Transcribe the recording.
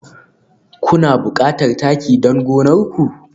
Kuna buƙatar taki don gonar ku?